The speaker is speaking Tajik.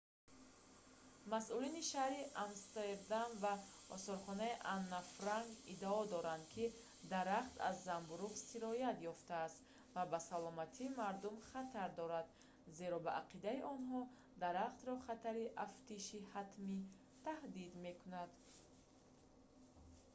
масъулини шаҳри амстердам ва осорхонаи анна франк иддао доранд ки дарахт аз занбӯруғ сироят ёфтааст ва ба саломатии мардум хатар дорад зеро ба ақидаи онҳо дарахтро хатари афтиши ҳатмӣ таҳдид мекунад